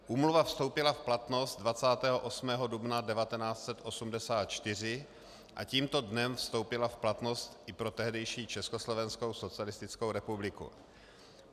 Úmluva vstoupila v platnost 28. dubna 1984 a tímto dnem vstoupila v platnost i pro tehdejší Československou socialistickou republiku.